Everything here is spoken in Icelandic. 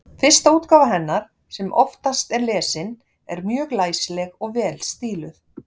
Fyrsta útgáfa hennar, sem oftast er lesin, er mjög læsileg og vel stíluð.